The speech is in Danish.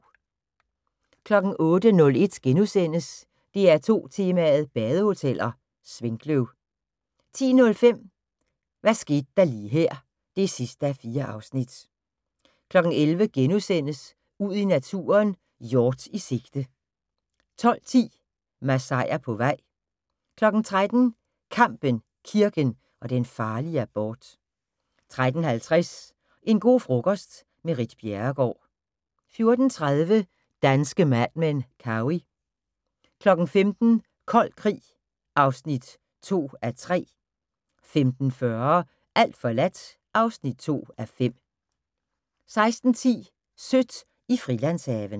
08:01: DR2 Tema: Badehoteller - Svinkløv * 10:05: Hvad skete der lige her (4:4) 11:00: Ud i naturen: Hjort i sigte * 12:10: Masaier på vej 13:00: Kampen, kirken og den farlige abort 13:50: En go' frokost - med Ritt Bjerregaard 14:30: Danske Mad Men: Cowey 15:00: Kold krig (2:3) 15:40: Alt forladt (2:5) 16:10: Sødt i Frilandshaven